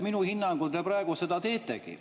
Minu hinnangul te praegu seda teetegi.